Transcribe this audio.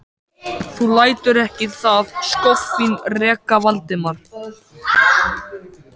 Þú lætur ekki það skoffín reka Valdimar!